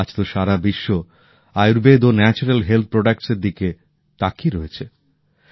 আজ তো সারা বিশ্ব আয়ূর্বেদ ও প্রাকৃতিক স্বাস্থ্যসম্মত পণ্যের দিকে তাকিয়ে রয়েছে